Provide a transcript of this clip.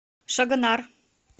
шагонар